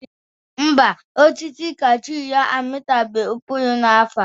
Ḿbà, osisi kaashu ya amịtaghị mkpụrụ n'afọ a.